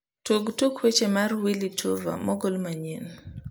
tug tuk weche mar willy tuva mogol manyien